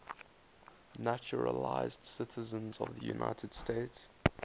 naturalized citizens of the united states